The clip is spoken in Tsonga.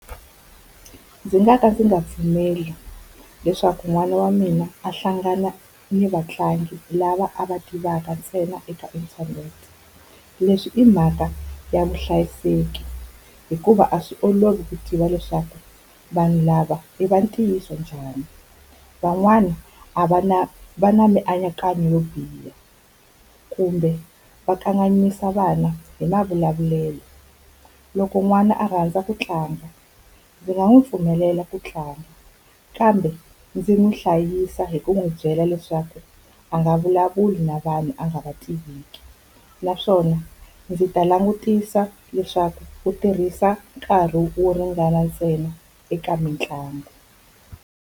Ndzi nga ka ndzi nga pfumeli leswaku n'wana wa mina a hlangana ni vatlangi lava a va tivaka ntsena eka internet. Leswi i mhaka ya vuhlayiseki. Hikuva a swi olovi ku tiva leswaku vanhu lava i va ntiyiso njhani. Van'wana a va na va na mianakanyo yo biha, kumbe va kanganyisa vana hi mavulavulelo. Loko n'wana a rhandza ku tlanga ndzi nga n'wi pfumelela ku tlanga, kambe ndzi n'wi hlayisa hi ku n'wi byela leswaku a nga vulavuli na vanhu a nga va tiveki. Naswona ndzi ta langutisa leswaku u tirhisa nkarhi wo ringana ntsena eka mitlangu.